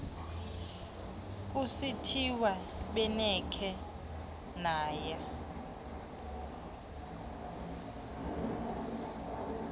kusithiwa benikhe naya